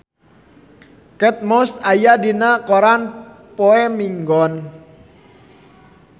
Kate Moss aya dina koran poe Minggon